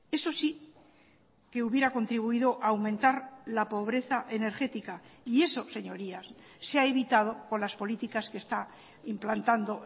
eso sí que hubiera contribuido a aumentar la pobreza energética y eso señorías se ha evitado con las políticas que está implantando